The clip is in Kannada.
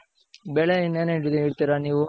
ಬೆಳೆ ಇನ್ನೇನ್ ಇಡ್ತಿರ ನೀವು.